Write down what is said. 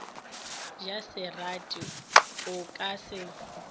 ja serati o ka se